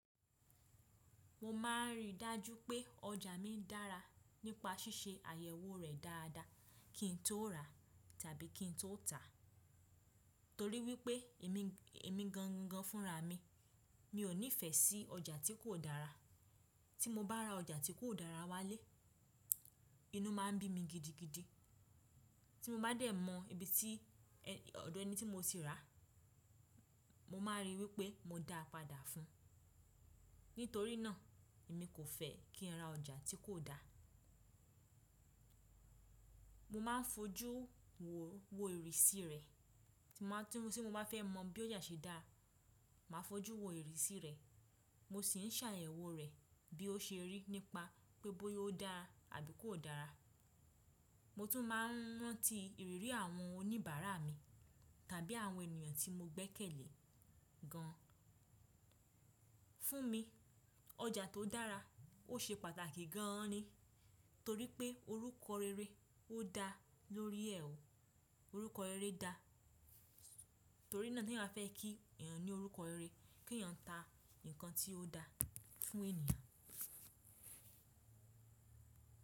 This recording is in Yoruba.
Mo ma ń ri dájú pé ọjà mi dára nípa ṣíṣe àyẹ̀wò rẹ̀ dáadáa kí n tó rà tábí kí n tó tà á. Torí wípé èmi, èmi gan gan fún ra mi, mi ò nífẹ̀ẹ́ sí ọjà tí kò dára. Tí mo bá ra ọjà tí kò dára wálé, inú máa ń bí mi gidigidi. Tí mo bá dẹ̀ mọ ibi tí ọ̀dọ̀ ẹni tí mo sì ra á, mo máa rí wípé mo dáa padà fun. Nítorí náà èmi kò fẹ́ kí n ra ọjà tí kò dáa. Mo máa n fojú wo ìrísí rẹ̀. Tí mo bá fẹ́ mọ bí ọjà ṣe dá, màá fojú wo ìrísí rẹ̀. Mo sì ń ṣàyẹ̀wò rẹ̀ bí ó ṣe rí nípa pe bóyá ó dára àbí kò dára. Mo tún máa n rán tí ìrírí àwọn oníbàárà mi tàbí àwọn ènìyàn tí mo gbẹ́kẹ̀lé gan. Fún mi, ọjà tó dára ó ṣe pàtàkì gan an ni. Torí pé orúkọ rere ó da lórí ẹ̀ ó. Orúkọ rere da. Torí náà ti èèyàn ba fẹ́ kí èèyàn ní orúkọ rere. Kí èèyàn ta nǹkan tí ó dáa fún ènìyàn.